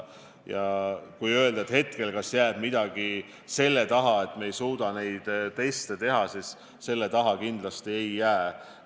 Kui küsida hetkel, kas jääb midagi selle taha, et me ei suuda neid teste teha, siis selle taha kindlasti ei jää.